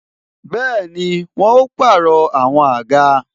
Bẹẹni, àwọn ó pàrọ̀ àwọn àga